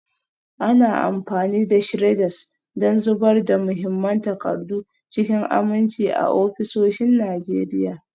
Ana amfani da shredders don zubar da muhimman takardu cikin aminci a ofisoshin Najeriya.